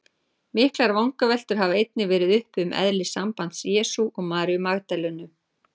Miklar vangaveltur hafa einnig verið uppi um eðli sambands Jesú og Maríu Magdalenu.